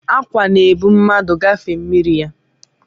ákwà na-ebu mmadụ agafe mmiri ya